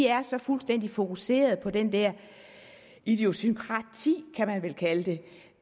er så fuldstændig fokuserede på den der ideosynkrasi kan man vel kalde det